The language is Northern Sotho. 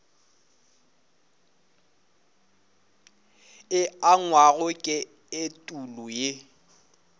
e angwago ke etulo ye